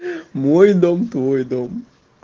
мой дом твой дом